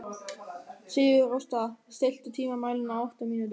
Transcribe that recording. Sigurásta, stilltu tímamælinn á átta mínútur.